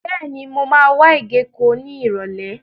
Bẹ́ẹ̀ni, mo máa wá ìgéko ní Ìrọ̀lẹ́.